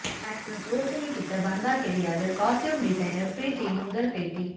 actress Roshini கிட்ட பந்தா கிடையாது காஸ்டியும் டிசைனர் ப்ரீத்தியின் முதல் பேட்டி